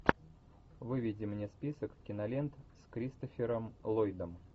выведи мне список кинолент с кристофером ллойдом